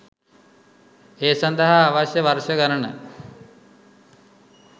ඒ සඳහා අවශ්‍ය වර්ෂ ගණන